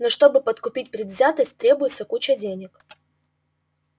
но чтобы подкупить предвзятость требуется куча денег